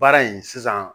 Baara in sisan